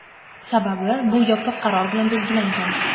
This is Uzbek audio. Sababi — bu yopiq qaror bilan belgilangan.